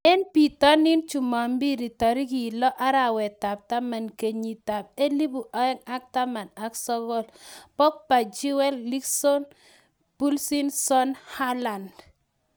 Eng bitonin jumapili tarik lo, arawetab taman kenyitab elebu oeng ak taman ak sokol :Pogba, Chilwell, Wilson, Pulisic, Son, Haaland